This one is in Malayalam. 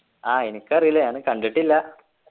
ആഹ് എനിക്കറീല ഞാന് കണ്ടിട്ടില്ല